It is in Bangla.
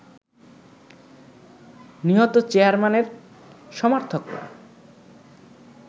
নিহত চেয়ারম্যানের সমর্থকরা